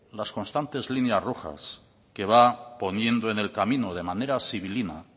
las constantes líneas rojas que va poniendo en el camino de manera sibilina